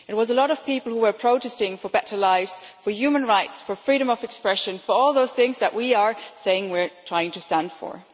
It was a lot of people who were protesting for better lives, for human rights, for freedom of expression, for all those things that we are saying we are trying to stand for.